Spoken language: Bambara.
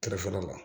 Kɛrɛfɛla la